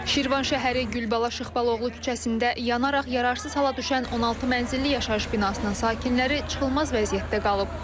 Şirvan şəhəri Gülabala Şıxbalaoğlu küçəsində yanaraq yararsız hala düşən 16 mənzilli yaşayış binasının sakinləri çıxılmaz vəziyyətdə qalıb.